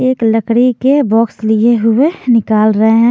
एक लकड़ी के बॉक्स लिए हुए निकाल रहे हैं।